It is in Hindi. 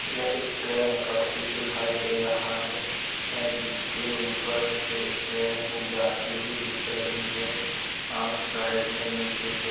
यह एक ट्रेन का पुल दिखाई दे रहा है‌ ऐ जिसके ऊपर से ट्रेन जाती हुई दिख रही है और साइड में नीचे से --